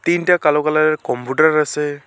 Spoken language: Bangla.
তিনটা কালো কালার -এর কম্পুটার আসে।